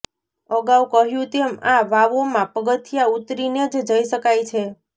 અગાઉ કહ્યું તેમ આ વાવોમાં પગથીયાં ઉતરીને જ જઈ શકાય છે